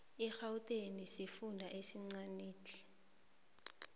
igauteng sifunda esincanitle